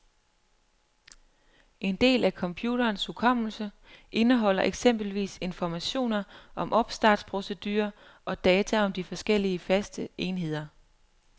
En del af computerens hukommelse indeholder eksempelvis informationer om opstartsprocedure og data om de forskellige faste enheder.